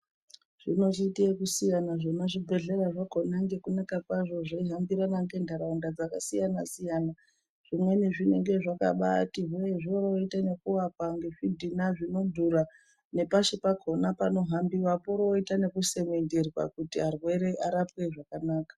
Zvinochite ekusiyana zvemazvibhedhlera zvakona ngekunaka kwazvo zveihambirana nenharaunda dzakasiyana-siyana. Zvimweni zvinenge zvakabati hwee oro voita nekuvakwa ngezvidhina zvinodhura nepashi pakona panohambiwa poroita nekusemenderwa kuti varwere varapwe zvakanaka.